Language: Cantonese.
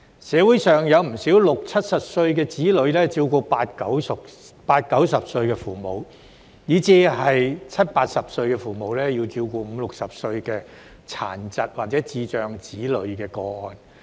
社會上有不少60歲、70歲的子女，要照顧80歲、90歲的父母，以至是70歲、80歲的父母，要照顧50歲、60歲的殘疾或智障子女的個案。